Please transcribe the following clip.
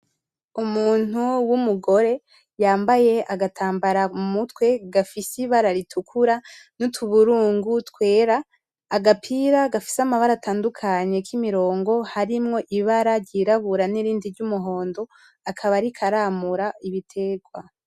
Umuntu w'umugore yambaye agatambara mu mutwe gafise ibara ritukura, n'utuburungu twera. Agapira gafise amabara atandukanye kimirongo, harimwo ibara ryirabura nirindi ry'umuhondo, akaba ariko aramura ibiterwa.